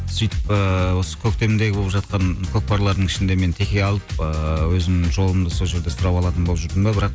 сөйтіп ыыы осы көктемдегі болып жатқан көкпарлардың ішінде мен теке алып ыыы өзімнің жолымды сол жерде сұрап алатын болып жүрдім де бірақ